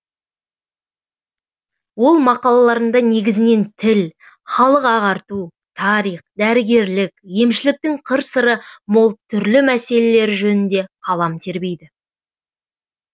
ол мақалаларында негізінен тіл халық ағарту тарих дәрігерлік емшіліктің қыр сыры мол түрлі мәселелері жөнінде қалам тербейді